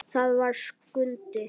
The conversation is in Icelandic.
Það var Skundi.